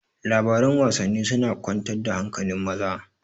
Labaran Wasanni suna kwantar da hankali maza